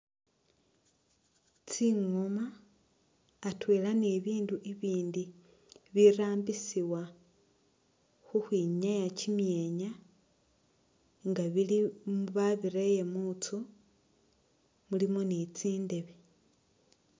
Tsingoma atwela ni bibindu bibindi birambisibwa khu khwinyaya kimyeenya nga bili babireye mu nzu mulimu ni tsindebe.